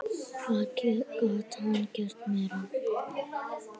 Hvað gat hann gert meira?